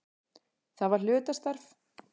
Það var hlutastarf.